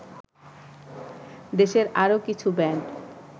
দেশের আরও কিছু ব্যান্ড